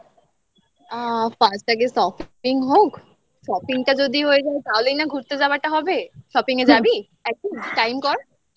আ first আগে shopping হোক shopping টা যদি হয়ে যায় তাহলেই না ঘুরতে যাওয়াটা হবে shopping এ যাবি time কর